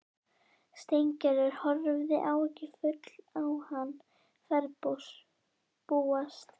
Steingerður horfði áhyggjufull á hann ferðbúast.